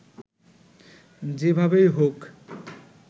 যেভাবেই হোক